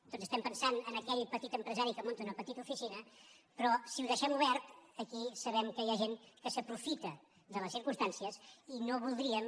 tots pensem en aquell petit empresari que munta una petita oficina però si ho deixem obert aquí sabem que hi ha gent que s’aprofita de les circumstàncies i no voldríem